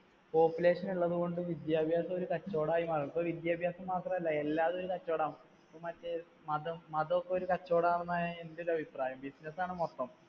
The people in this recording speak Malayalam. population ഉള്ളതുകൊണ്ട് വിദ്യാഭ്യാസം ഒരു കച്ചവടം ആയി മാറും. ഇപ്പൊ വിദ്യാഭ്യാസം മാത്രമല്ല എല്ലാം ഒരു കച്ചവടമാണ്. ഇപ്പൊ മറ്റേ മതം മതം ഒക്കെ ഒരു കച്ചവടം ആകുന്നതായി എന്‍ടെ ഒരു അഭിപ്രായം. business ആണ് മൊത്തം.